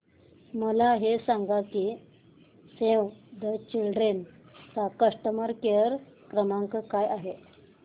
मला हे सांग की सेव्ह द चिल्ड्रेन चा कस्टमर केअर क्रमांक काय आहे